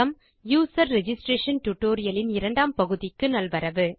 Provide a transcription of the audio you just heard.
user registration tutorial இன் இரண்டாம் பகுதிக்கு நல்வரவு